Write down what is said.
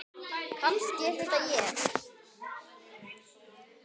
Og kannski er þetta ég.